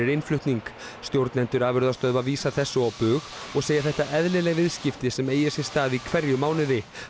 innflutning stjórnendur afurðastöðva vísa þessu á bug og segja þetta eðlileg viðskipti sem eigi sér stað í hverjum mánuði